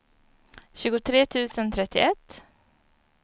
tjugotre tusen trettioett